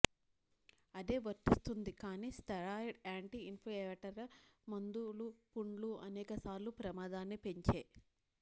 అదే వర్తిస్తుంది కాని స్టెరాయిడ్ యాంటీ ఇన్ఫ్లమేటరీ మందులు పుండ్లు అనేక సార్లు ప్రమాదాన్ని పెంచే